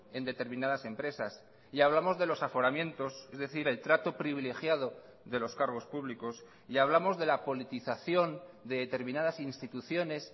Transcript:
en determinadas empresas y hablamos de los aforamientos es decir el trato privilegiado de los cargos públicos y hablamos de la politización de determinadas instituciones